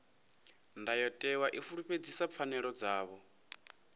ndayotewa i fulufhedzisa pfanelo dzavho